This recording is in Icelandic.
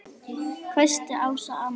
hvæsti Ása amma.